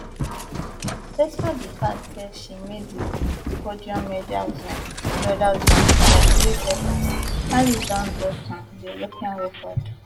despite di fact say she miss di podium medal zone medal zone by three seconds alice don break um di european record